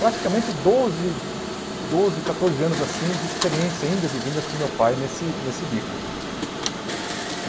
Praticamente doze, doze catorze anos assim de experiência, indas e vindas, com meu pai nesse nesse bico.